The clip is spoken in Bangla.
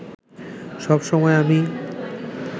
সব সময় আমি